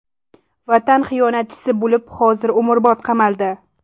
Vatan xiyonatchisi bo‘lib, hozir umrbod qamaldi.